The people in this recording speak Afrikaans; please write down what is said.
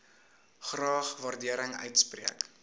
graag waardering uitspreek